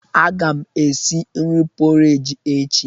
Aga m esi nri pọreji echi.